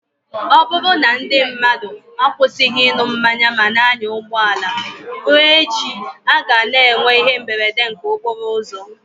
Ọ bụrụ na ndị mmadụ akwụsịghị ịṅụ mmanya ma na-anya ụgbọala, ruo echi, a ga-ana enwe ihe mberede nke okporo ụzọ.